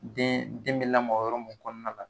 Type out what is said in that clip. Den den bɛ lamɔ yɔrɔ mun kɔnɔna la